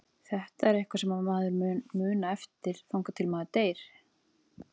Þetta er eitthvað sem maður mun muna eftir þangað til maður deyr.